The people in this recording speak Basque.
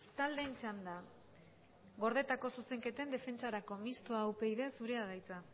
taldeen txanda gordetako zuzenketen defentsarako mistoa upyd zurea da hitza